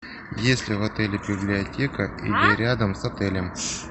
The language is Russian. есть ли в отеле библиотека или рядом с отелем